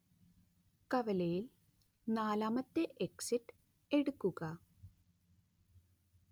കവലയിൽ നാലാമത്തെ എക്സിറ്റ് എടുക്കുക